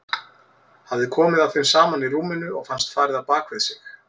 Hafði komið að þeim saman í rúminu og fannst farið á bak við sig.